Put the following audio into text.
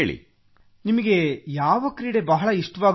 ನಿಮಗೆ ಯಾವ ಕ್ರೀಡೆ ಬಹಳ ಇಷ್ಟವಾಗುತ್ತದೆ ಸರ್